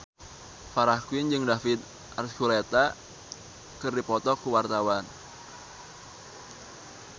Farah Quinn jeung David Archuletta keur dipoto ku wartawan